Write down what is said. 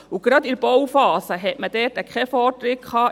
Und gerade in der Bauphase hatte man dort keinen Vortritt.